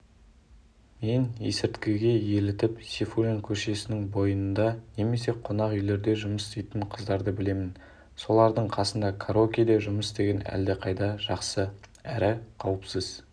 мен есірткіге елітіп сейфуллин көшесінің бойында немесе қонақүйлерде жұмыс істейтін қыздарды білемін солардың қасында караокеде жұмыс істеген әлдеқайда жақсы әрі қауіпсіз